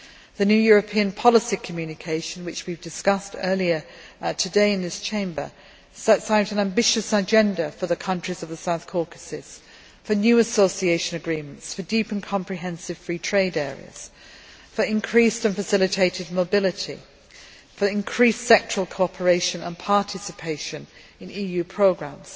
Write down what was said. The new European Neighbourhood Policy communication, which we discussed earlier today in this Chamber, sets out an ambitious agenda for the countries of the South Caucasus for new Association Agreements, deep and comprehensive free trade areas, increased and facilitated mobility, increased sectoral cooperation and participation in EU programmes